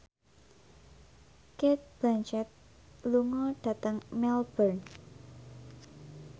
Cate Blanchett lunga dhateng Melbourne